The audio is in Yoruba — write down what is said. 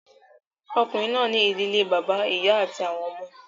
Ọkùnrin náà ní ìdílé bàbá, ìyá àti àwọn ọmọ